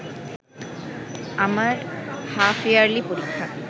আমার হাফইয়ার্লি পরীক্ষা